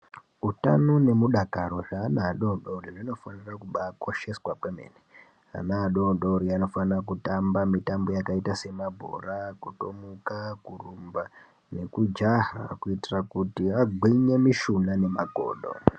Utano nemudakaro zveana adoodori zvinofanira kubaakosheswa kwemene Ana adoodori anofana kutamba mitambo yakaita semabhora, kutomuka, kurumba nekujaha kuitira kuti agwinye mishuna nemakodo.